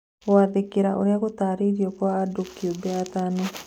Gwathĩkĩra ũrĩa gũtarĩirio kwa andũ kĩũmbe atano